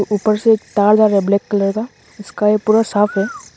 ऊपर से तार ब्लैक कलर का उसका यह पूरा साफ है।